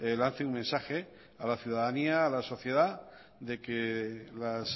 lance un mensaje a la ciudadanía de que las